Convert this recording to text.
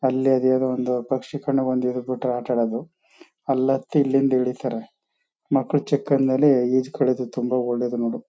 ಅಲ್ಲೇ ಬೇಗ ಬಂದು ಜೊತೆ ಆತಾಡದು ಅಲ್ ಹತ್ತಿ ಇಲ್ಲಿಂದ ಇಳೀತಾರೆ. ಮಕ್ಕ್ಳು ಚಿಕ್ಕಂದಲ್ಲಿ ಈಜ್ ಕಳಿಯೋದ್ ತುಂಬಾ ಒಳ್ಳೇದು ನೋಡು.